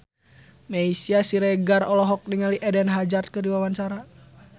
Meisya Siregar olohok ningali Eden Hazard keur diwawancara